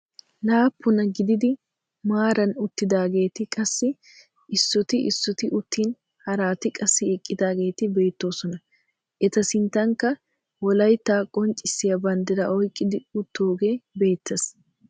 Laappunaa gididi maaraa uttidaageti qassi issoti issoti uttin haraati qassi eqqidaageti beettoosona. eta sinttankka wollaytta qonccisiyaa banddiraa oyqqidi uttoogee beettees.